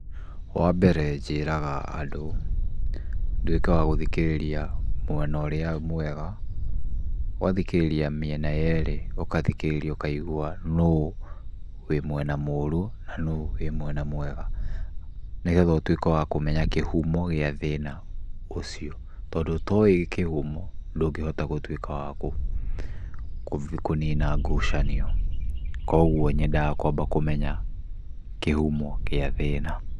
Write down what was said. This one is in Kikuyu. Wambere njĩraga andũ nduĩke wagũthikĩrĩria mwena ũrĩa mwega. ũgathikĩrĩria mĩena yerĩ. ũgathikĩrĩria ũkaigua nũwĩmwena mũru na nũwĩmwena mwega, nĩgetha ũtuĩke wakũmenya kĩhumo gĩa thĩna ũcio . Tondũ otoĩ kĩhumo ndũngĩhota gũtuĩka wakũnina ngucanio. Kuogwo nyendaga kwamba kũmenya kĩhumo gĩa thĩna.